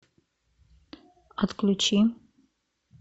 отключи